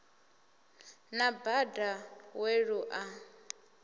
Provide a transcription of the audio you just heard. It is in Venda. na bada we lu a